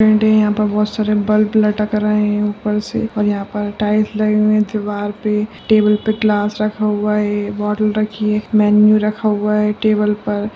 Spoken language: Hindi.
पेंट यहाँ पे बहुत सारे बल्ब लटक रहे हैं ऊपर से और यहाँ पे टाइल्स लगी हुई हैं दीवार पे टेबल पे ग्लास रखा हुआ है बोतल रखी हैं मेनू रखा हुआ है टेबल पर।